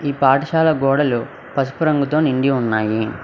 ఈ పాఠశాల గోడలు పసుపు రంగుతో నిండి ఉన్నాయి.